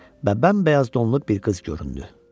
Və bəmbəyaz donlu bir qız göründü.